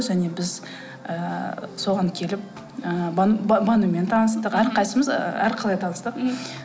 және біз ыыы соған келіп ыыы банумен таныстық әрқайсысымыз әрқалай таныстық мхм